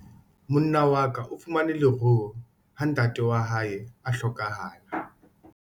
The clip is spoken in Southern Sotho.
Monna wa ka o fumane leruo ha ntatae a hlokahala.